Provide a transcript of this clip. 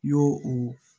I y'o o